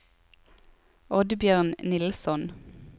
Oddbjørn Nilsson